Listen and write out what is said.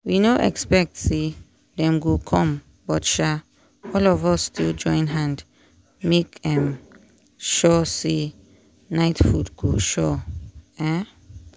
we no expect say dem go come but um all of us still join hand make um sure say night food sure um